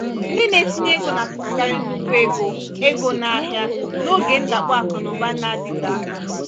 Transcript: ndị na-etinye ego na-atụfukarị nnukwu ego ego n'ahịa n'oge ndakpọ akụ na ụba na-adịte aka.